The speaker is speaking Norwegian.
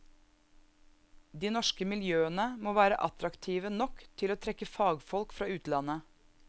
De norske miljøene må være attraktive nok til å trekke fagfolk fra utlandet.